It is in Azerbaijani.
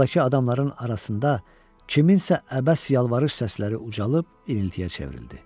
Zaldakı adamların arasında kimsənin əbəs yalvarış səsləri ucalıb iniltiyə çevrildi.